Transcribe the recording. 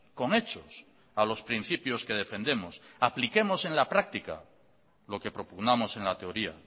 con hechos a los principios que defendemos apliquemos en la práctica lo que propugnamos en la teoría